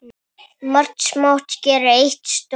Margt smátt gerir eitt stórt